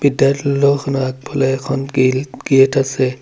বিদ্যালয়খনৰ আগফালে এখন গেল গেট আছে।